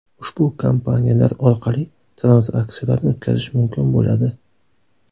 Ushbu kompaniyalar orqali tranzaksiyalarni o‘tkazish mumkin bo‘ladi.